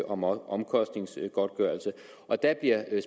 om omkostningsgodtgørelse og der bliver